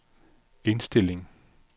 indstilling